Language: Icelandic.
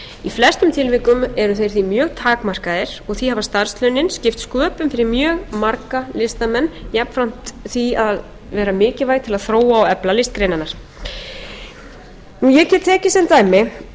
flestum tilvikum eru þeir því mjög takmarkaðir og því hafa starfslaunin skipt sköpum fyrir mjög marga listamenn jafnframt því að vera mikilvæg til að þróa og efla listgreinarnar ég geti tekið sem dæmi